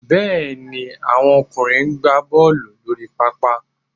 Bẹ́ẹ̀ ni, àwọn ọkùnrin ń gbá Bọ́ọ̀lù lórí pápá